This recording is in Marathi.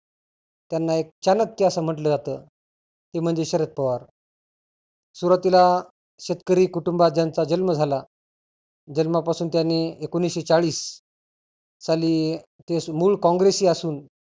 त्यांना एक चानक्य असं म्हटलं जात. ते म्हणजे शरद पवार. सुरुवातीला शेतकरी कुटुंबात ज्यांचा जन्म झाला जन्मापासून त्यांनी एकोनिसशे चाळीस साली ते मुळ कॉंग्रेसी असुन